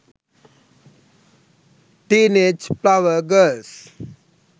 teenage flower girls